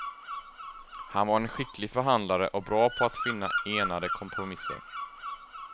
Han var en skicklig förhandlare och bra på att finna enande kompromisser.